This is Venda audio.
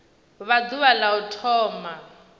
vha ḓuvha la u thoma